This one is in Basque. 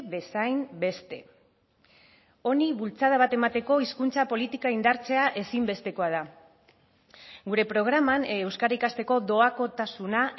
bezain beste honi bultzada bat emateko hizkuntza politika indartzea ezinbestekoa da gure programan euskara ikasteko doakotasuna